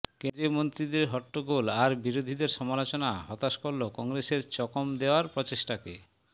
কেন্দ্রীয় মন্ত্রীদের হট্টগোল আর বিরোধীদের সমালোচনা হতাশ করল কংগ্রেসের চকম দেওয়ার প্রচেষ্টাকে